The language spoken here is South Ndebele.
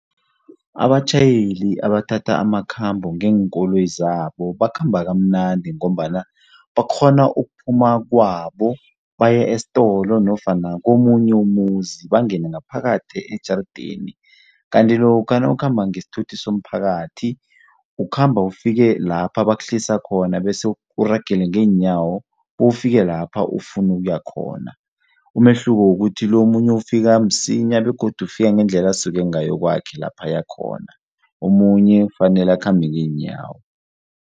Abatjhayeli abathatha amakhambo ngeenkoloyi zabo bakhamba kamnandi ngombana bakghona ukuphuma kwabo baye esitolo nofana komunye umuzi bangene ngaphakathi ejarideni kanti lokha nawukhamba ngesithuthi somphakathi ukhamba ufike lapha bakuhlisa khona bese uragele ngeenyawo bewufike lapho ufuna ukuya khona. Umehluko kukuthi lo omunye ufike msinya begodu ufika ngendlela asuke ngayo kwakhe lapha aya khona, omunye kufanele akhambe ngeenyawo.